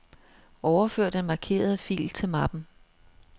Overfør den markerede fil til mappen.